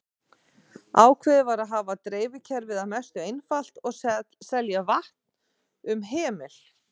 Ákveðið var að hafa dreifikerfið að mestu einfalt og selja vatn um hemil.